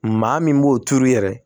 Maa min b'o turu yɛrɛ